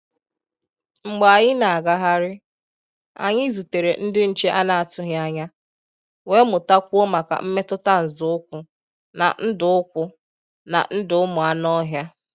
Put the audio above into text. Mgbé ànyị́ ná-àgáhárí, ànyị́ zútèré ndí nché à nà-àtụghí ányá, wéé mụ́tá kwúó máká mmétụ́tá nzọ́ ụ́kwụ́ ná ndụ́ ụ́kwụ́ ná ndụ́ ụ́mụ́ ànụ́-ọ́hịá.